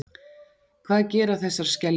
hvað gera þessar skeljar